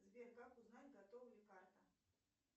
сбер как узнать готова ли карта